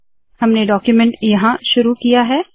हमने डाक्यूमेन्ट यहाँ शुरू किया है